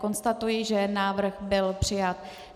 Konstatuji, že návrh byl přijat.